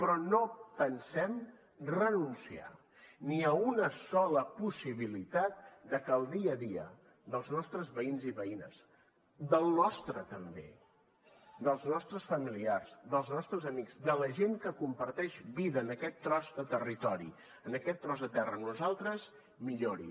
però no pensem renunciar ni a una sola possibilitat de que el dia a dia dels nostres veïns i veïnes del nostre també dels nostres familiars dels nostres amics de la gent que comparteix vida en aquest tros de territori en aquest tros de terra amb nosaltres millori